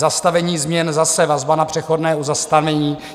Zastavení změn - zase vazba na přechodné zastavení.